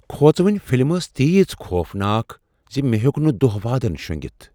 كھوژوٕنۍ film ٲس تیژ خوفناک زِ مےٚ ہیوٚک نہٕ دۄہ وادن شونگِتھ۔